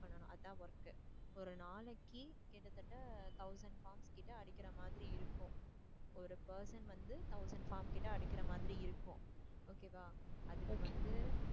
பண்ணனும் அதான் work ஒரு நாளைக்கு கிட்டத்தட்ட thousand forms கிட்ட அடிக்கிற மாதிரி இருக்கும் ஒரு person வந்து thousand forms கிட்ட அடிக்கிற மாதிரி இருக்கும் okay வா. அதுக்கு வந்து